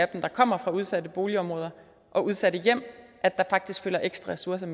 dem der kommer fra udsatte boligområder og udsatte hjem faktisk følger ekstra ressourcer